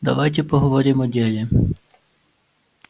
давайте поговорим о деле